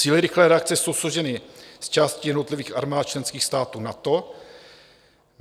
Síly rychlé reakce jsou složeny z částí jednotlivých armád členských států NATO.